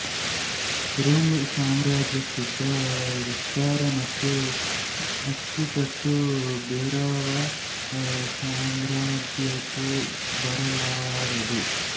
Roman ಸಾಮ್ರಾಜ್ಯಕ್ಕಿದ್ದ ವಿಸ್ತಾರ ಮತ್ತು ಅಚ್ಚುಗಟ್ಟು ಬೇರಾವ ಸಾಮ್ರಾಜ್ಯಕ್ಕೂ ಬರಲಾರದು